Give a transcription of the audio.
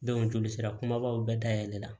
joli sira kumabaw bɛɛ dayɛlɛla